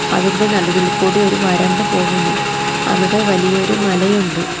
അതിൻ്റെ നടുവിൽ കൂടി ഒരു വരമ്പ് പോകുന്നു അവിടെ വലിയൊരു മലയുണ്ട്.